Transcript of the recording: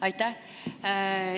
Aitäh!